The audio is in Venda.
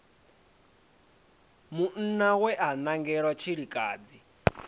munna we a nangelwa tshilikadzi